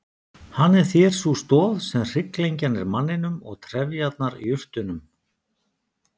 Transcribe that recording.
Hann er þér sú stoð sem hrygglengjan er manninum og trefjarnar jurtunum.